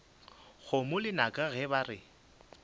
kgomo lenaka ge ba re